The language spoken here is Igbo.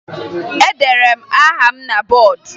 Edere m aha m na bọọdụ